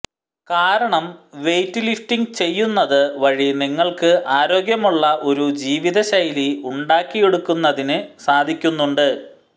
കാരണം weight lifting ചെയ്യുന്നത് വഴി നിങ്ങള്ക്ക് ആരോഗ്യമുള്ള ഒരു ജീവിത ശൈലി ഉണ്ടാക്കിയെടുക്കുന്നതിന് സാധിക്കുന്നുണ്ട്